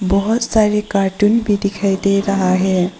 बहुत सारे कार्टून भी दिखाई दे रहा है।